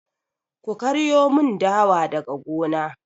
Ku karyo mun dawa daga gona!